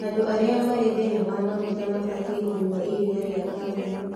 Andũ arĩa marĩ thĩna wa maguta mabatiĩ kũnyua iriia rĩa kambuni